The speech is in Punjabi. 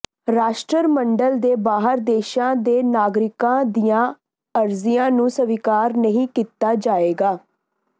ਰਾਸ਼ਟਰਮੰਡਲ ਦੇ ਬਾਹਰ ਦੇਸ਼ਾਂ ਦ ਨਾਗਰਿਕਾਂ ਦੀਆਂ ਅਰਜ਼ੀਆਂ ਨੂੰ ਸਵੀਕਾਰ ਨਹੀਂ ਕੀਤਾ ਜਾਏਗਾ